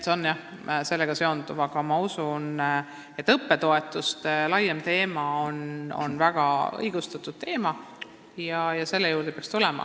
Ma usun, et laiem õppetoetuste teema on väga õigustatud ja selle juurde peaks tulema.